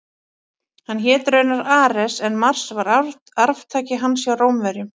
Hann hét raunar Ares en Mars var arftaki hans hjá Rómverjum.